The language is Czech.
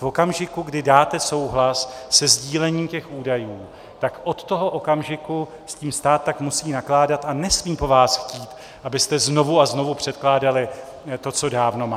V okamžiku, kdy dáte souhlas se sdílením těch údajů, tak od toho okamžiku s tím stát tak musí nakládat a nesmí po vás chtít, abyste znovu a znovu předkládali to, co dávno má.